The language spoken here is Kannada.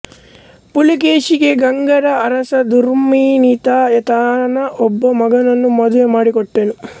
ಪುಲಿಕೇಶಿಗೆ ಗಂಗರ ಅರಸ ದೂರ್ವಿನಿತ ತನ್ನ ಒಬ್ಬ ಮಗಳನ್ನು ಮದುವೆಮಾಡಿಕೊಟ್ಟನು